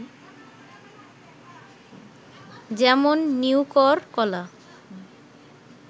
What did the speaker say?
যেমন- নিউকর, কলা